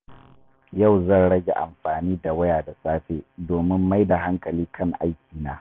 Yau zan rage amfani da waya da safe domin mai da hankali kan aikina.